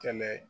Kɛlɛ